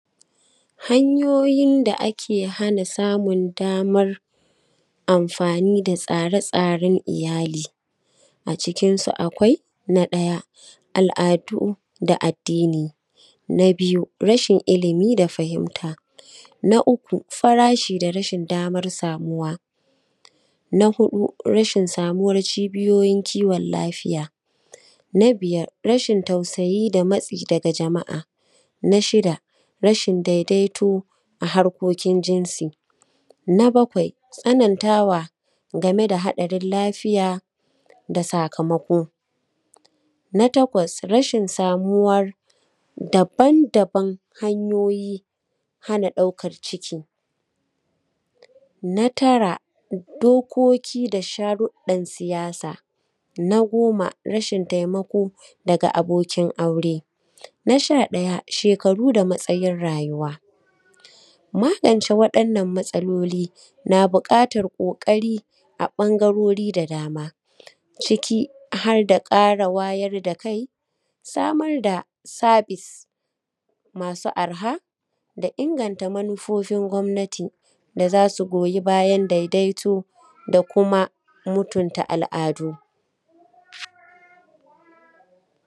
Hanyoyin da ake hana samun damar amfani da tsara-tsaren iyali, a cikinsu akwai: na ɗaya, al’adu da addini; na biyu, rashin ilimi da fahimta; na uku, farashi da rashin damar samuwa na huɗu, rashin samuwan cibiyoyin kiwon lafiya; na biyar, rashin tausayi da matsi daga jama’a; na shida, rashin daidaito a harƙokin jinsi; na bakwai, tsanantawa game da hatsarin lafiya da sakamako; na takwas, rashin samuwar daban-daban hanyoyi hana ɗaukan ciki; na tara, dokoki da sharruɗan siyasa; na goma, rashin taimako da abokin aure; na sha ɗaya, shek’aru da matsajin rayuwa. Magance waɗannan matsaloli na buƙatan ƙoƙari a ɓangarori da dama, ciki har da ƙara wayar da kai, samar da sabis masu arha, da inganta manufofin gomnati da za su goyi bayan daidaito da kuma mutumta al’adu.